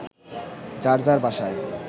যার যার বাসায়